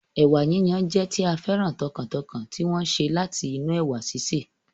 Ẹ̀wà yíyon jẹ́ tí a féràn tọkàntọkàn tí wọ́n sè láti inú ẹ̀wà síse